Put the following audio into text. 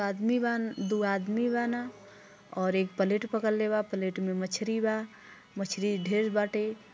एक अदमी बान दू आदमी बाना और एक प्लेट पकड़ले बा प्लेट में मछली बा मछली ढेर बाटे।